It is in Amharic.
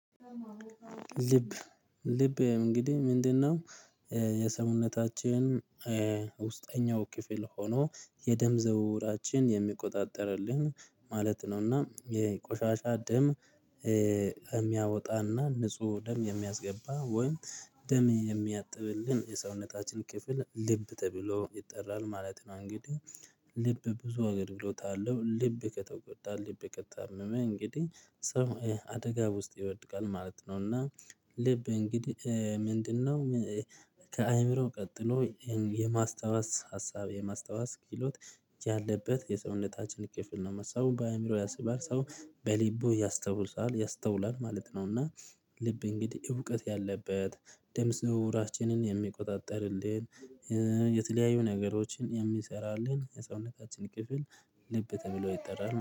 ልብ ልብ እንግዲህ ምንድነው? የሰውነታችን ውስጠኛው ክፍል ሆኖ የደም ዝውውራችንን የሚቆጣጠርልን ማለት ነው እና የቆሻሻ ደም የሚያወጣና ንጹህ ደም የሚያስገባ ወይም ደም የሚያጥብልን የሰውነታችን ክፍል ልብ ተብሎ ይጠራል ማለት ነው። እንግዲህ ልብ ብዙ አገልግሎት አለው ልብ ከተቆጣ ልብ ከታመመ እንግዲህ ሰው አደጋ ውስጥ ይወድቃል ማለት ነው። እና ልብ እንግዲህ ምንድነው? ከአእምሮ ቀጥሎ የማስታወስ ሀሳብ የማስታወስ ክህሎት ያለበት የሰውነታችን ክፍል ነው። ሰው በአዕምሮ ያስባል ሰው በልቡ ያስተውላል ያስተውላል ማለት ነው። እና ልብ እንግዲህ እውቀት ያለበት ደም ዝውውራችንን የሚቆጣጠርልን የተለያዩ ነገሮችን የሚሰራልን የሰውነታችን ክፍል ልብ ተብሎ ይጠራል